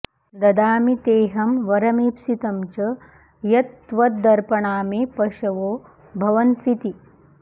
ददामि तेऽहं वरमीप्सितं च यत्त्वदर्पणा मे पशवो भवन्त्विति